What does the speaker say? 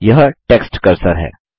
यह text cursor है